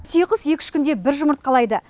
түйеқұс екі үш күнде бір жұмыртқалайды